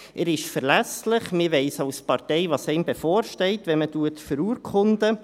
Er ist verlässlich, man weiss als Partei, was einem bevorsteht, wenn man verurkundet.